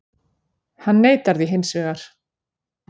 Hann neitar því hins vegar